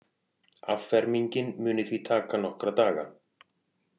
Affermingin muni því taka nokkra daga